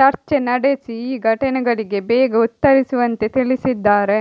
ಚರ್ಚೆ ನಡೆಸಿ ಈ ಘಟನೆಗಳಿಗೆ ಬೇಗ ಉತ್ತರಿಸುವಂತೆ ತಿಳಿಸಿದ್ದಾರೆ